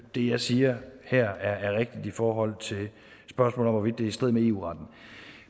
det jeg siger her er rigtigt i forhold til spørgsmålet i strid med eu retten